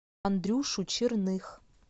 андрюшу черных